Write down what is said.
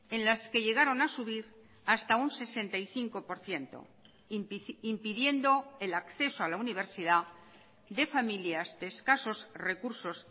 en las que llegaron a subir hasta un sesenta y cinco por ciento impidiendo el acceso a la universidad de familias de escasos recursos